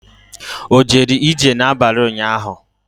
O jere ije n'abalị ụnyaahụ?